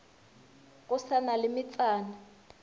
go sa na le metsana